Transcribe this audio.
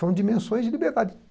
São dimensões de liberdade.